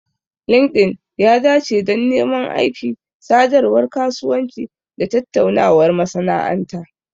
Linkedln ya dace don neman aiki, sadarwar kasuwanci, da tattaunawar masana'anta